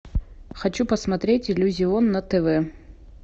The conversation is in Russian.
хочу посмотреть иллюзион на тв